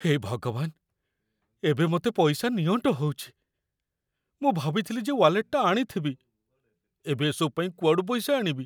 ହେ ଭଗବାନ! ଏବେ ମତେ ପଇସା ନିଅଣ୍ଟ ହଉଚି, ମୁଁ ଭାବିଥିଲି ଯେ ୱାଲେଟଟା ଆଣିଥିବି । ଏବେ ଏସବୁ ପାଇଁ କୁଆଡ଼ୁ ପଇସା ଆଣିବି?